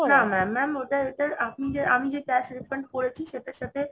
না না Mam আপনি যে আমি যে cash return করেছি সেটার সাথে